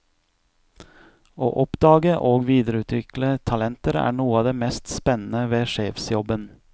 Å oppdage og videreutvikle talenter er noe av det mest spennende ved sjefsjobben.